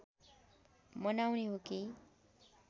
मनाउने हो कि